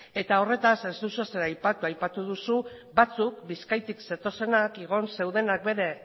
eta horretaz ez duzu ezer aipatu aipatu duzu batzuk bizkaitik zetozenak igon zeudenak bere